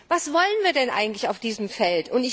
Was wollen wir denn eigentlich auf diesem Feld?